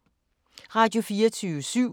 Radio24syv